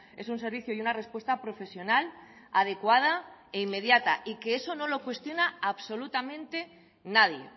es un servicio y una respuesta profesional adecuada e inmediata y que eso no lo cuestiona absolutamente nadie